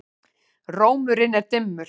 Rómurinn er dimmur.